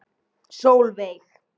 Solveig